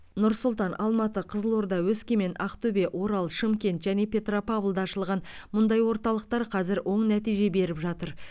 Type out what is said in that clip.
нұр сұлтан алматы қызылорда өскемен ақтөбе орал шымкент және петропавлда ашылған мұндай орталықтар қазір оң нәтиже беріп жатыр